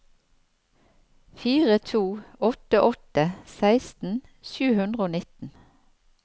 fire to åtte åtte seksten sju hundre og nitten